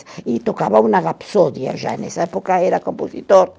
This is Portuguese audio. E tocava uma rapsódia, já nessa época era compositor.